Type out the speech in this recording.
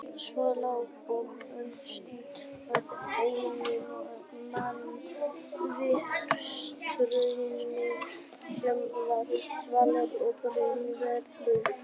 Svo lá hann um stund og ennið nam við strauminn sem var svalur og raunverulegur.